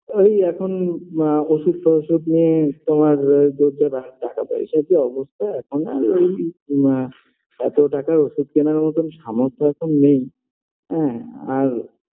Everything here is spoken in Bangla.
ওই এখন আ ওষুধ ফষুধ নিয়ে তোমরা যে টাকা-পয়সার যা অবস্থা এখন আর ওই আ এত টাকার ওষুধ কেনার মত সামর্থ্য এখন নেই হ্যাঁ আর